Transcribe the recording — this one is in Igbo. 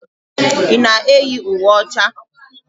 Ị na-eyi uwe ọcha?